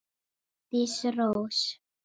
Bryndís Rós.